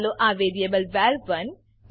ચાલો આ વેરીએબ વર1